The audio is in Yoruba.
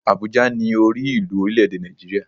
Àbújá ni orí ìlú orílè èdè Nàìjíríà